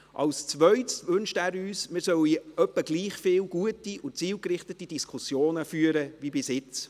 Als Zweites wünscht er uns, wir sollen etwa gleich viel gute und zielgerichtete Diskussionen führen wie bisher.